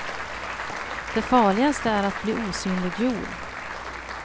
Det farligaste är att bli osynliggjord.